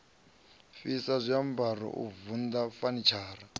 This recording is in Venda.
fhisa zwiambaro u vunḓa fanitshara